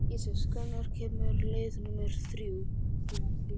Ísis, hvenær kemur leið númer þrjú?